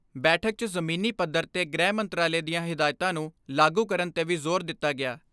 ਬੈਠਕ 'ਚ ਜ਼ਮੀਨੀ ਪੱਧਰ 'ਤੇ ਗ੍ਰਹਿ ਮੰਤਰਾਲੇ ਦੀਆਂ ਹਿਦਾਇਤਾਂ ਨੂੰ ਲਾਗੂ ਕਰਨ 'ਤੇ ਵੀ ਜ਼ੋਰ ਦਿੱਤਾ ਗਿਆ।